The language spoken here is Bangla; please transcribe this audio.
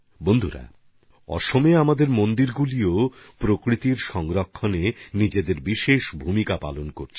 বন্ধুগণ আসামে আমাদের মন্দিরগুলিও পরিবেশ সুরক্ষার ক্ষেত্রে নিজেদের পৃথক ভূমিকা পালন করে চলেছে